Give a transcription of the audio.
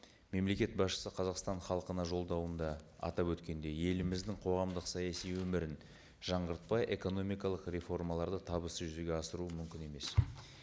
мемлекет басшысы қазақстан халқына жолдауында атап өткендей еліміздің қоғамдық саяси өмірін жаңғыртпай экономикалық реформаларды табысты жүзеге асыру мүмкін емес